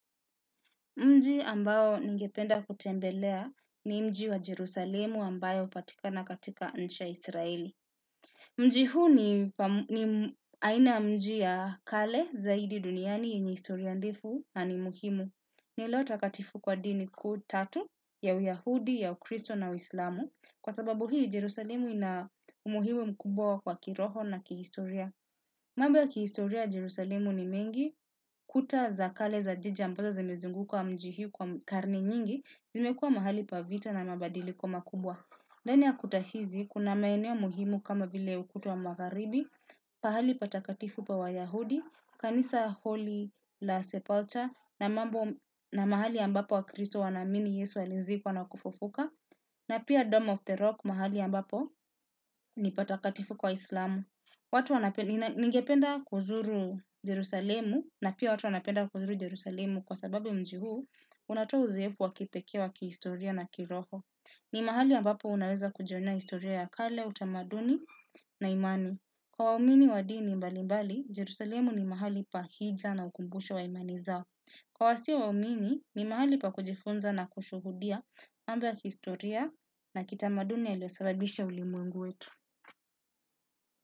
Mji ambao ningependa kutembelea ni mji wa Jerusalemu ambayo upatika na katika inchi ya israeli. Mji huu ni aina mji ya kale zaidi duniani yenye historia ndefu na ni muhimu. Ni eleo ta katifu kwa dini ku tatu ya uyahudi, ya ukristo na uislamu. Kwa sababu hii Jerusalemu ina umuhimu mkubwa kwa kiroho na kihistoria. Mambo ya kihistoria Jerusalemu ni mengi, kuta za kale za jiji ambazo zimezunguka mji hii kwa karne nyingi, zimekua mahali pavita na mabadili ko makubwa. Ndani ya kuta hizi, kuna maeneo muhimu kama vile ukuta wa magharibi, pahali patakatifu pa wa yahudi, kanisa holy la sepulcha, na mahali ambapo wa kristo wa naamini Yesu alizikwa na kufufuka, na pia dome of the rock mahali ambapo ni patakatifu kwa Islamu. Watu wanapenda ningependa kuzuru Jerusalemu na pia watu wanapenda kuzuru Jerusalemu kwa sababu mji huu unatoa uzeefu wakipekee wa kihistoria na kiroho. Ni mahali ambapo unaweza kujionea historia ya kale, utamaduni na imani. Kwa waumini wa dini mbali mbali, Jerusalemu ni mahali pa hija na ukumbusho wa imani zao. Kwa wasio wa umini, ni mahali pa kujifunza na kushuhudia mambo ya kihistoria na kitamaduni yaliyosababisha ulimwengu wetu.